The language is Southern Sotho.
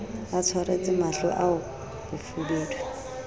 a tsweretse mahlo ao bofubedu